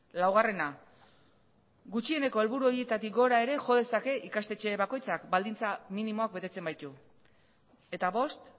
laugarrena gutxieneko helburu horietatik gora ere jo dezake ikastetxe bakoitzak baldintza minimoak betetzen baitu eta bost